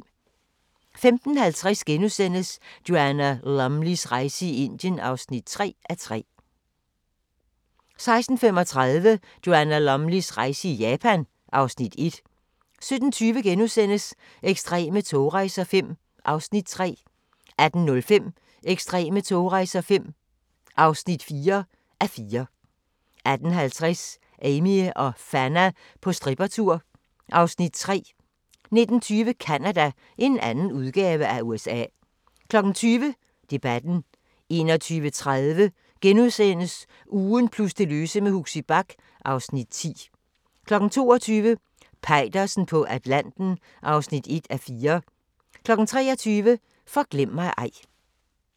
15:50: Joanna Lumleys rejse i Indien (3:3)* 16:35: Joanna Lumleys rejse i Japan (Afs. 1) 17:20: Ekstreme togrejser V (3:4)* 18:05: Ekstreme togrejser V (4:4) 18:50: Amie og Fanna på strippertur (Afs. 3) 19:20: Canada – en anden udgave af USA 20:00: Debatten 21:30: Ugen plus det løse med Huxi Bach (Afs. 10)* 22:00: Peitersen på Atlanten (1:4) 23:00: Forglem mig ej